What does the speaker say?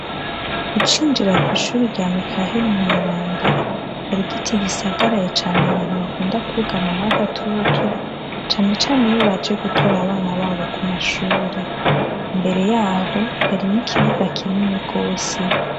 Ucinjira kw' ishure rya Mikaheli Mweranda, har'igiti gisagaraye can' abantu bakunda kugamamw'agatutu, cane can'iyo baje gutora abana babo kumashure, imbere yaho harimw ikibuga kinini gose.